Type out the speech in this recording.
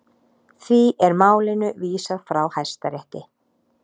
Því er málinu vísað frá Hæstarétti